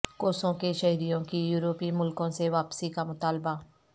Kosovo کے شہریوں کی یورپی ملکوں سے واپسی کا مطالبہ